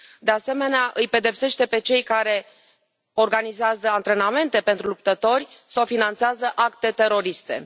De asemenea, îi pedepsește pe cei care organizează antrenamente pentru luptători sau finanțează acte teroriste.